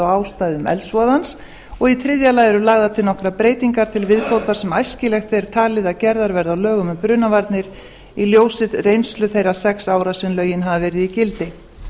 á ástæðum eldsvoðans og í þriðja lagi eru lagðar til nokkrar breytingar til viðbótar sem æskilegt er talið að gerðar verði á lögum um brunavarnir í ljósi reynslu þeirra sex ára sem lögin hafa verið í gildi